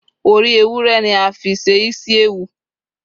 ori ewúrẹ ni a fi se isiewu